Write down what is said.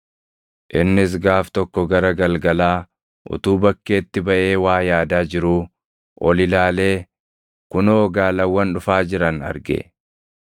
Innis gaaf tokko gara galgalaa utuu bakkeetti baʼee waa yaadaa jiruu oli ilaalee kunoo gaalawwan dhufaa jiran arge.